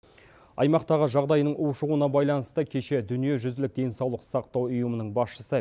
аймақтағы жағдайдың ушығуына байланысты кеше дүниежүзілік денсаулық сақтау ұйымының басшысы